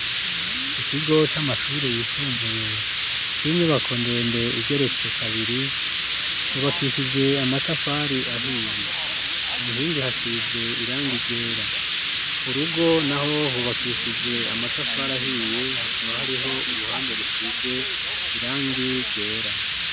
Ikigo c'amashuri yisumbuye c'inyubako ndende igeretse kabiri cubakishije amatafari ahiye ku nkingi hasize irangi ryera ku rugo naho hubakishije amatafari ahiye hakaba hariho uruhande rusize irangi ryera.